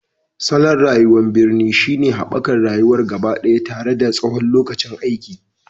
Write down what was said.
Salon rayuwar birni shine haɓakar rayuwa gabaɗaya tare da tsawon lokacin aiki,